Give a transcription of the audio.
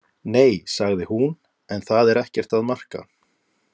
Nei, sagði hún, en það er ekkert að marka.